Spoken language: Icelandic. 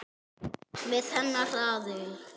Með hennar aðild.